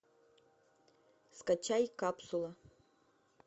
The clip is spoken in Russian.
скачай капсула